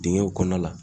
Dingɛw kɔnɔna la